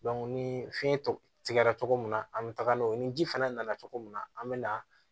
ni fiɲɛ tɔ tigɛra cogo min na an bɛ taga n'o ye ni ji fana nana cogo min na an bɛ na